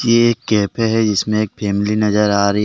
ये एक कैफ़े हैं जिसमें एक फैमिली नजर आ रही है।